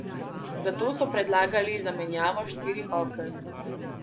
Zato so predlagali zamenjavo štirih oken.